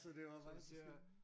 så det var faktisk øh